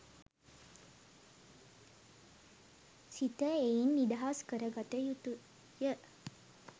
සිත එයින් නිදහස් කරගත යුතුය.